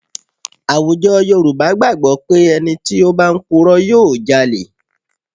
À̀wùjọ Yorùbá gbàgbọ́ pé ẹni tí ó bá ń purọ́ yóò jalẹ̀